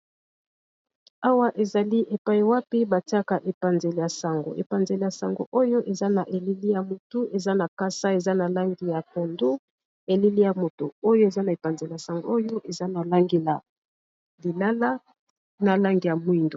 Awa ezali epai wapi batiaka epanzele ya sango epanzele ya sango oyo eza na elili ya moto eza na kasa eza na langi ya pondo elili ya motu oyo eza na epanzele ya sango oyo eza na langi ya lilala na langi ya mwindu.